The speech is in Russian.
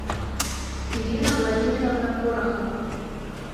ирина владимировна порохова